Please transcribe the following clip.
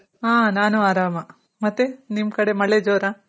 ಹಾ ನಾನು ಆರಾಮ್. ಮತ್ತೆ ನಿಮ್ ಕಡೆ ಮಳೆ ಜೋರ?